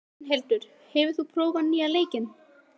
Gunnhildur, hefur þú prófað nýja leikinn?